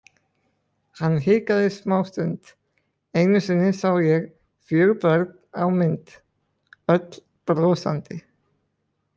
Hann hikaði smástund: Einu sinni sá ég fjögur börn á mynd, öll brosandi.